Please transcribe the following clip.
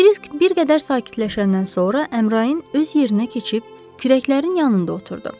Kirisk bir qədər sakitləşəndən sonra Əmrahin öz yerinə keçib kürəklərin yanında oturdu.